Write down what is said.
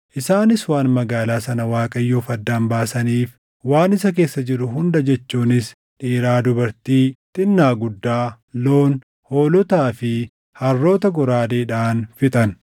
Isaanis waan magaalaa sana Waaqayyoof addaan baasaniif waan isa keessa jiru hunda jechuunis dhiiraa dubartii, xinnaa guddaa, loon, hoolotaa fi harroota goraadeedhaan fixan.